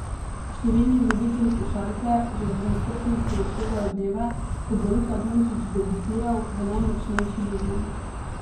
Številni ljubitelji košarke že z nestrpnostjo odštevajo dneve, ko bo Luka Dončić debitiral v najmočnejši ligi.